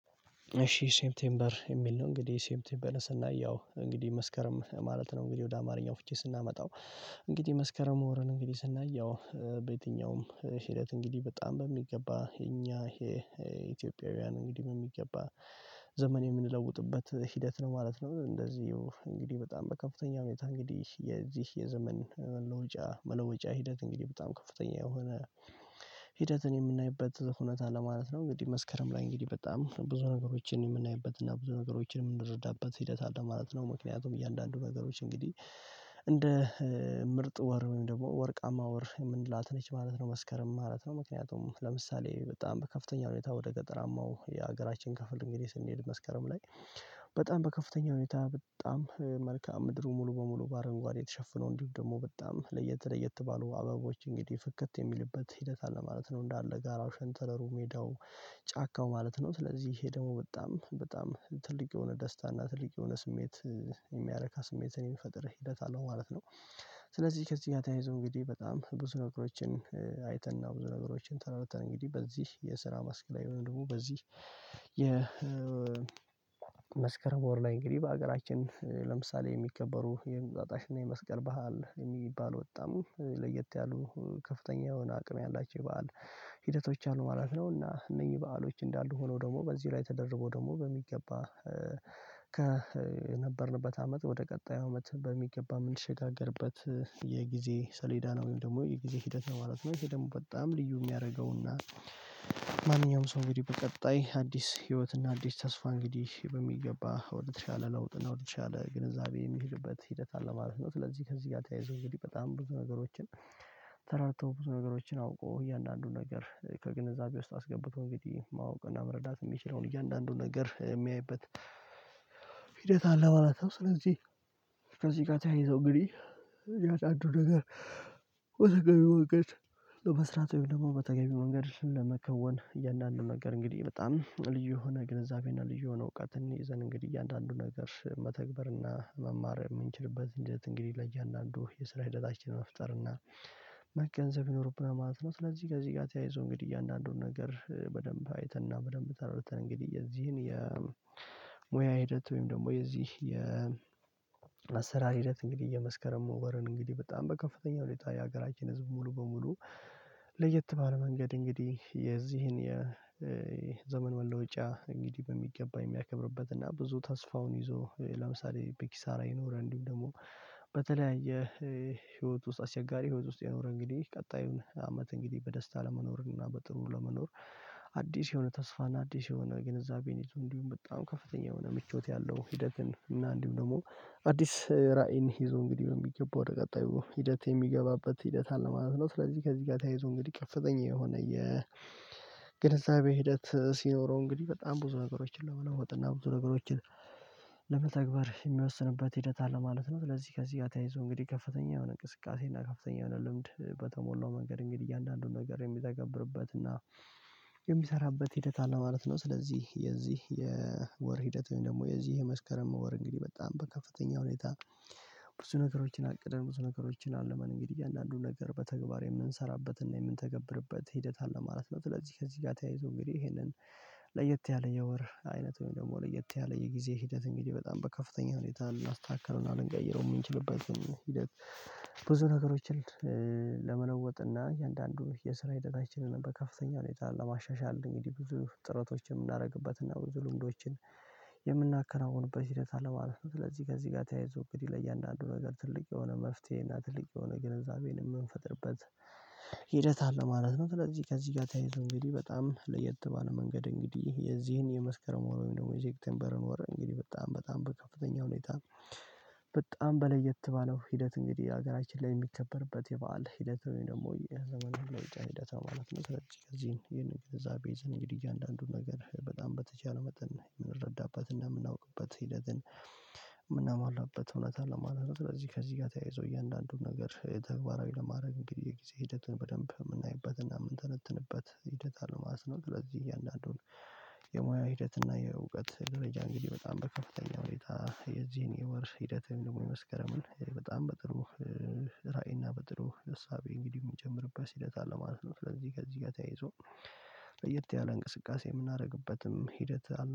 እሺ ሴፕቴምበር የሚል ነው እንግዲህ ሴፕቴምበር ስናይ ያው እንግዲህ መስከረም ማለት ነው እንግዲህ ወደ አማርኛው ፍች ስናመጣው። እንግዲህ መስከረም ወርን እንግዲህ ስናይ ያው በየትኛውም ሂደት እንግዲህ በጣም በሚገባ የኛ ይሄ ኢትዮጵያውያን እንግዲህ በሚገባ ዘመን የምንለውጥበት ሂደት ነው ማለት ነው። እንደዚሁ እንግዲህ በጣም በከፍተኛ ሁኔታ እንግዲህ የዚህ የዘመን መለወጫ መለወጫ ሂደት እንግዲህ በጣም ከፍተኛ የሆነ ሂደትን የምናይበት ሁነታ ለማለት ነው። እንግዲህ መስከረም ላይ እንግዲህ በጣም ብዙ ነገሮችን የምናይበት እና ብዙ ነገሮችን የምንረዳበት ሂደት አለ ማለት ነው። ምክንያቱም እያንዳንዱ ነገሮች እንግዲህ እንደ ምርጥ ወር ወይም ደግሞ ወርቃማ ወር የምንላት ነች ማለት ነው። መስከረም ማለት ነው ምክንያቱም ለምሳሌ በጣም በከፍተኛ ሁኔታ ወደ ገጠራማው የሀገራችን ክፍል እንግዲህ ስንሄድ መስከረም ላይ። በጣም በከፍተኛ ሁኔታ በጣም መልክአ ምድሩ ሙሉ በሙሉ በአረንጓዴ የተሸፈነው እንዲሁ ደግሞ በጣም ለየትለየት ባሉ አበቦች እንግዲህ ፍክት የሚልበት ሂደት አለ ማለት ነው። እንዳለ ጋራው ሸንተረሩ ሜዳው ጫካው ማለት ነው ስለዚህ ይሄ ደግሞ በጣም በጣም ትልቅ የሆነ ደስታ እና ትልቅ የሆነ ስሜት የሚያረካ ስሜትን የሚፈጥር ሂደት አለው ማለት ነው። ስለዚህ ከዚህ ተያይዞ እንግዲህ በጣም ብዙ ነገሮችን አይተን ነው ብዙ ነገሮችን ተረድተን እንግዲህ በዚህ የስራ መስክ ላይ ወይም ደግሞ በዚህ የመስከረም ወር ላይ እንግዲህ በሀገራችን ለምሳሌ የሚከበሩ የእንቁጥጥሽ እና የመስቀል በዓል የሚባል በጣም ለየት ያሉ ከፍተኛ የሆነ አቅም ያላቸው የበአል ሂደቶች አሉ ማለት ነው። እና እነኚህ በዓሎች እንዳሉ ሆኖ ደግሞ በዚህ ላይ ተደርቦ ደግሞ በሚገባ ከነበርንበት አመት ወደ ቀጣዩ አመት በሚገባ ምንሸጋገርበት የጊዜ ሰሌዳ ነው ወይም ደግሞ የጊዜ ሂደት ነው ማለት ነው። ይሄ ደግሞ በጣም ልዩ የሚያደርገውና ማንኛውም ሰው እንግዲህ በቀጣይ አዲስ ህይወትና እና አዲስ ተስፋ እንግዲህ በሚገባ ወደተሻለ ለውጥ እና ወደተሻለ ግንዛቤ የሚሄድበት ሂደት አለ ማለት ነው። ስለዚህ ከዚህ ጋር ተያይዞ እንግዲህ በጣም ብዙ ነገሮችን ተረድተው ብዙ ነገሮችን አውቆ እያንዳንዱን ነገር ከግንዛቤ ውስጥ አስገብቶ እንግዲህ ማወቅ እና መረዳት የሚችለውን እያንዳንዱን ነገር የሚያይበት ሂደት አለ ማለት ነው። ስለዚህ ከዚህ ጋር ተያይዞ እንግዲህ ቢያንስ አንዱን ነገር በተገቢው መንገድ ለመስራት ወይም ደግሞ በተገቢው መንገድ ለመከወን እያንዳንዱ ነገር እንግዲህ በጣም ልዩ የሆነ ግንዛቤና ልዩ የሆነ እውቀትን ይዘን እንግዲህ እያንዳንዱ ነገር መተግበርና መማር የምንችልበት ሂደት እንግዲህ ለእያንዳንዱ የስራ ሂደታችን መፍጠር እና መገንዘብ ይኖርብና ማለት ነው። ስለዚህ ከዚህ ጋር ተያይዞ እንግዲህ እንዳንዱን ነገር በደንብ አይተንና በደንብ ተረድተን እንግዲህ የዚህን የሙያ ሂደት ወይም ደግሞ የዚህ የአሰራር ሂደት እንግዲህ የመስከረም ወርን እንግዲህ በጣም በከፍተኛ ወዲያ የሀገራችን ህዝብ ሙሉ በሙሉ። ለየት ባለ መንገድ እንግዲህ የዚህን የዘመን መለወጫ እንግዲህ በሚገባ የሚያከብርበት እና ብዙ ተስፋውን ይዞ ለምሳሌ በኪሳራ የኖረ እንዲሁም ደግሞ በተለያየ ህይወት ውስጥ አስቸጋሪ ህይወት ውስጥ የኖረ እንግዲህ ቀጣዩን አመት እንግዲህ በደስታ ለመኖርን እና በጥሩ ለመኖር አዲስ የሆነ ተስፋና አዲስ የሆነ ግንዛቤን ይዞ እንዲሁም በጣም ከፍተኛ የሆነ ምቾት ያለው ሂደትን እና እንዲሁም ደግሞ አዲስ ራዕይን ይዞ እንግዲህ ነው በሚገባ ወደ ቀጣዩ ሂደት የሚገባበት ሂደት አለ ማለት ነው። ስለዚህ ከዚህ ጋር ተያይዞ እንግዲህ ከፍተኛ የሆነ የ የግንዛቤ ሂደት ሲኖረው እንግዲህ በጣም ብዙ ነገሮችን ለመለወጥ እና ብዙ ነገሮችን ለመተግበር የሚወስንበት ሂደት አለ ማለት ነው። ለዚህ ከዚህ ጋር ተያይዞ እንግዲህ ከፍተኛ የሆነ እንቅስቃሴ እና ከፍተኛ የሆነ ልምድ በተሞላው መንገድ እንግዲህ እያንዳንዱን ነገር የሚተገብርበት እና የሚሰራበት ሂደት አለ ማለት ነው። ስለዚህ የዚህ የወር ሂደት ወይም ደግሞ የዚህ የመስከረም ወር እንግዲህ በጣም በከፍተኛ ሁኔታ ብዙ ነገሮችን አቅደን ብዙ ነገሮችን አልመን እንግዲህ እያንዳንዱን ነገር በተግባር የምንሠራበትና የምንተገብርበት ሂደት አለ ማለት ነው። ስለዚህ ከዚህ ጋር ተያይዞ እንግዲህ ይሄንን ለየት ያለ የወር አይነት ወይም ደግሞ የት ያለ የጊዜ ሂደት እንግዲህ በጣም በከፍተኛ ሁኔታ ልናስተካክለው እና ልንቀይረው የምንችልበትን ሂደት ብዙ ነገሮችን ለመለወጥ እና የእያንዳንዱ የስራ ሂደታችንን በከፍተኛ ሁኔታ ለማሻሻል እንግዲህ ብዙ ጥረቶችን የምናደርግበትና ብዙ ልምዶችን የምናከናውንበት ሂደት አለ ማለት ነው። ስለዚህ ከዚህ ጋር ተያይዞ እንግዲህ ለእያንዳንዱ ነገር ትልቅ የሆነ መፍትሄ እና ትልቅ የሆነ ግንዛቤን የምንፈጥርበት ሂደት አለ ማለት ነው። ስለዚህ ከዚህ ጋር ተያይዞ እንግዲህ በጣም ለየት ባለ መንገድ እንግዲህ የዚህን የመስከረም ወር ወይም ደግሞ የሴቴፕምበርን ወር እንግዲህ በጣም በጣም በከፍተኛ ሁኔታ በጣም በለየት ባለው ሂደት እንግዲህ ሀገራችን ላይ የሚከበርበት የበአል ሂደት ወይም ደግሞ የዘመን መለውጫ ሂደት ነው ማለት ነው። ስለዚህ ከዚህን ይህንን ግንዛቤ ይዘን እንግዲህ እያንዳንዱን ነገር በጣም በተቻለ መጠን የምንረዳበት እና የምናውቅበት ሂደትን የምናሟላበት እውነት አለ ማለት ስለዚህ ከዚህ ጋር ተያይዞ እያንዳንዱን ነገር ተግባራዊ ለማድረግ እንግዲህ የጊዜ ሂደትን በደንብ የምናይበትና የምንተነትንበት ሂደት አለው ማለት ነው። ስለዚህ እያንዳንዱን የሙያ ሂደት እና የእውቀት ደረጃ እንግዲህ በጣም በከፍተኛ ሁኔታ የዚህን የወር ሂደት ወይም ደግሞ የመስከረምን በጣም በጥሩ ራዕይና በጥሩ እሳቤ እንግዲህ የሚጀምርበት ሂደት አለ ማለት ነው። ስለዚህ ጋር እዚህ ጋር ተያይዞ ለየት ያለ እንቅስቃሴ የምናደርግበትም ሂደት አለ